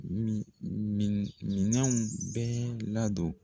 Mi mi minɛnw bɛɛ ladon.